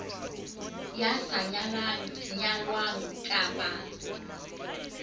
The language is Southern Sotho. ya sa nyalang nyalwang kapa